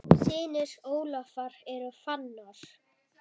Synir Ólafar eru Fannar.